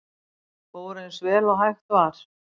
Fór eins vel og hægt var